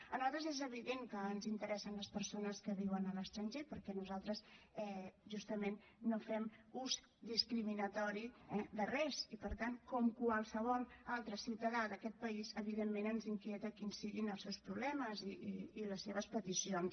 a nosaltres és evident que ens interessen les persones que viuen a l’estranger perquè nosaltres justament no fem ús discriminatori eh de res i per tant com qualsevol altre ciutadà d’aquest país evidentment ens inquieta quins siguin els seus problemes i les seves peticions